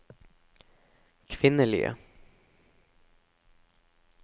kvinnelige